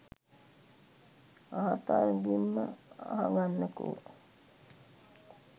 ආතර්ගෙම්ම අහගන්නකෝ.